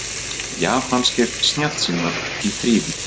Japanskir snjallsímar í þrívídd